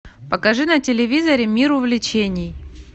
покажи на телевизоре мир увлечений